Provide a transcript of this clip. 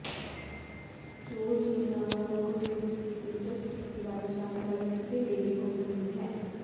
Georgina Rodriguez ਦੀ ਦਿਲਚਸਪ ਸਥਿਤੀ ਬਾਰੇ ਜਾਣਕਾਰੀ ਕਿਸੇ ਲਈ ਵੀ ਗੁਪਤ ਨਹੀਂ ਹੈ